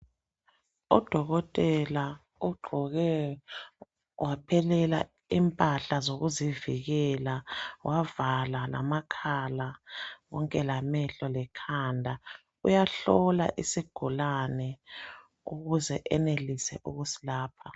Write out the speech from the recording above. Udokotela ugqoke waphelela impahla zokuzivikela ,wavala lamakhala konke lamehlo lekhanda uyahlola isigulani ukuze enelise ukusilapha.